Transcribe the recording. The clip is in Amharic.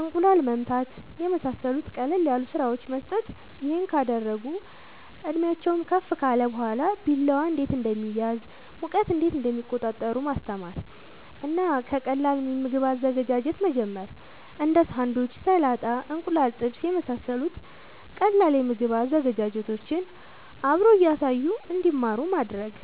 እንቁላል መምታት የመሳሰሉት ቀለል ያሉ ስራወችን መስጠት ይሄን ካደረጉ እድሜአቸውም ከፍ ካለ በኋላ ቢላዋ እንዴት እንደሚያዝ ሙቀት እንዴት እንደሚቆጣጠሩ ማስተማር እና ከቀላል የምግብ አዘገጃጀት መጀመር እንዴ ሳንዱች ሰላጣ እንቁላል ጥብስ የመሳሰሉት ቀላል የምግብ ዝግጅቶችን አብሮ እያሳዩ እንድማሩ ማድረግ